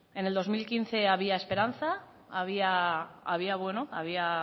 en el dos mil quince había esperanza había